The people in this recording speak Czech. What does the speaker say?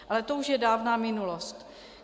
Ale to už je dávná minulost.